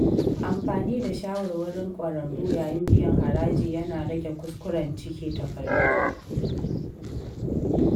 Amfani da shawarwarin ƙwararru yayin biyan haraji yana rage kuskuren cike takardu.